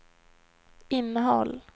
innehåll